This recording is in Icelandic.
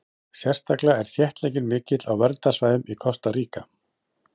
sérstaklega er þéttleikinn mikill á verndarsvæðum í kosta ríka